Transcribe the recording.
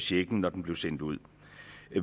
checken når den blev sendt ud